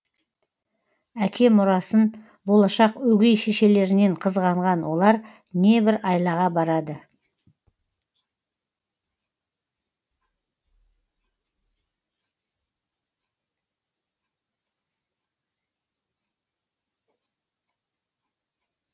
әке мұрасын болашақ өгей шешелерінен қызғанған олар небір айлаға барады